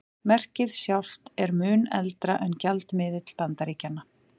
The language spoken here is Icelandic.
Merkið sjálft er mun eldra en gjaldmiðill Bandaríkjanna.